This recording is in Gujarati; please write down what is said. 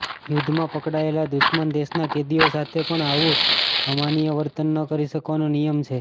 યુદ્ધમાં પકડાયેલા દુશ્મન દેશના કેદીઓ સાથે પણ આવું અમાનવીય વર્તન ન કરી શકવાનો નિયમ છે